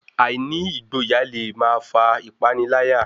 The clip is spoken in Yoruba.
Àìní ìgboyà le máa fà ìpániláyà